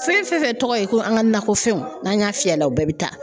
Fɛn fɛn tɔgɔ ye ko an ka nakɔfɛnw n'an y'a fiyɛ a la u bɛɛ be taa